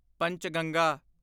Panchganga